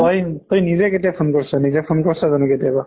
তই তই নিজে কেতিয়া phone কৰিছʼ? নিজে phone কৰিছʼ জানো কেতিয়াবা?